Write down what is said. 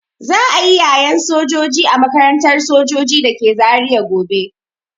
Za'a yi yayen sojoji a makarantar sojoji dake Zaria gobe.